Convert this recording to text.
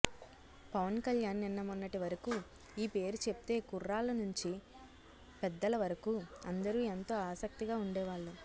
పవన్ కళ్యాణ్ నిన్న మొన్నటివరకు ఈ పేరు చెప్తే కుర్రాళ్ళ నుంచీ పెద్దల వరకూ అందరు ఎంతో ఆసక్తిగా ఉండేవాళ్ళు